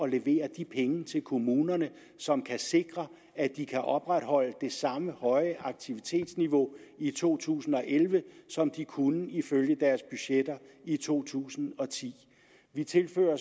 levere de penge til kommunerne som kan sikre at de kan opretholde det samme høje aktivitetsniveau i to tusind og elleve som de kunne ifølge deres budgetter i to tusind og ti vi tilfører